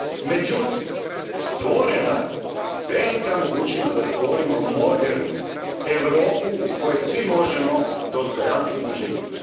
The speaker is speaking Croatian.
Međutim, stvorena je velika mogućnost da stvorimo modernu Europu u kojoj svi možemo dostojanstveno živjeti.